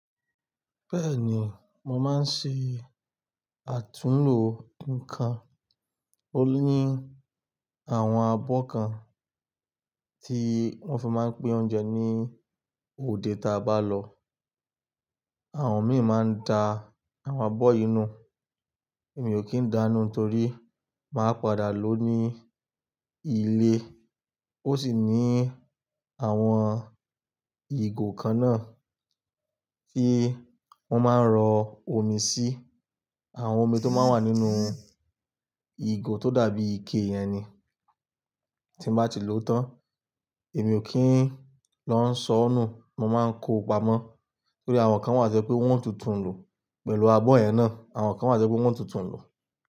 Bẹ́ẹ̀ni, mo máa ń ṣe àtúnlo nǹkan. Ó ní àwọn abọ́ kan tí wọ́n fi máa ń pín oúnjẹ ní òde táa bá lọ. Àwọn mi máa ń da àwọn abọ́ yi nú. Èmi ò kí ń dáa nu nitorí máa padà lo ní ilé. Ó sì ní àwọn ìgò kan náà tí wọ́n máa ń rọ omi sí. Àwọn omi tó máa ń wà nínú ìgò tó dàbí ike yẹn ni. Tí mo bá ti lò ó tán, èmi ò kí ń lọ́ n sọ nù. Mo máa ń ko pamọ́ torí àwọn kan wà to sé pé wọ́n o tún tù ń lò pẹ̀lú abọ́ yẹn náà. Àwọn kan wà sé pé wọ́n tútù ń lò.